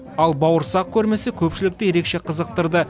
ал бауырсақ көрмесі көпшілікті ерекше қызықтырды